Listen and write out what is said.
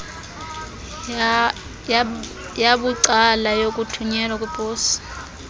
yabucala yokuthunyelwa kweposi